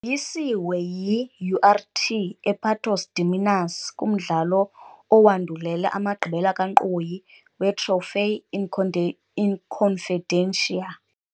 Yoyisiwe yi-URT ePatos de Minas kumdlalo owandulela amagqibela kankqoyi weTroféu Inconfidência.